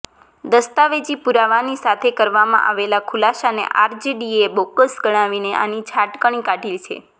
દસ્તાવેજી પુરાવાની સાથે કરવામાં આવેલા ખુલાસાને આરજેડીએ બોગસ ગણાવીને આની છાટકણી કાઢી છે